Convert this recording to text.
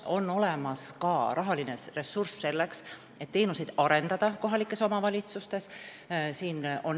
On olemas ka rahaline ressurss selleks, et kohalikes omavalitsustes teenuseid arendada.